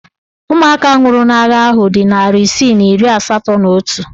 Ụmụaka nwụrụ n'agha ahụ dị narị isii na iri asatọ na otu